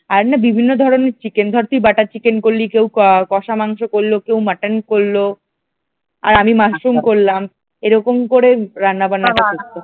আর না বিভিন্ন ধরনের চিকেন ধর তুই buter চিকেন করলি কেউ কষা মাংস করল কেউ মাটন করল আর আমি মাশরুম করলাম এরকম করে রান্না বান্নাটা করতে হবে।